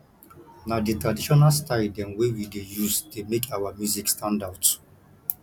na di traditional style dem wey we dey use dey make our music stand out